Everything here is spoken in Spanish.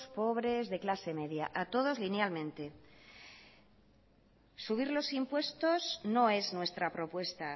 pobres de clase media a todos linealmente subir los impuestos no es nuestra propuesta